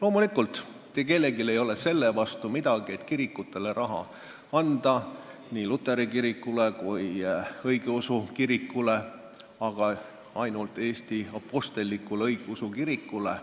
Loomulikult, mitte kellelgi ei ole selle vastu midagi, et kirikutele raha anda – nii luteri kirikule kui ka õigeusu kirikule, aga ainult Eesti apostlikule õigeusu kirikule,